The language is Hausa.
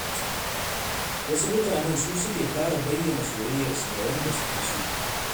Wasu matan su suke fara bayyana soyayyarsu ga wanda suke so.